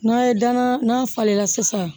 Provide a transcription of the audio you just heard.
N'a ye danna n'a falenna sisan